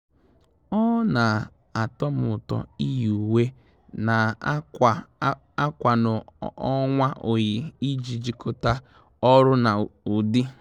Ọ́ nà-àtọ́ m ụ́tọ́ iyi uwe nà-àkwa akwa n'ọnwa oyi iji jikọ́ta ọ́rụ́ na ụ́dị́.